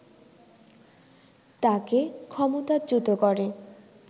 তাকে ক্ষমতাচ্যুত করে